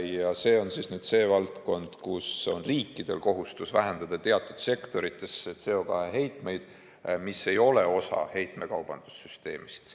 Ja see on see valdkond, kus on riikidel kohustus vähendada teatud sektorites CO2 heitmeid, mis ei ole osa heitmekaubanduse süsteemist.